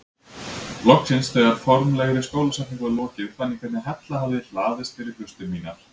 Loksins þegar formlegri skólasetningu var lokið fann ég hvernig hella hafði hlaðist fyrir hlustir mínar.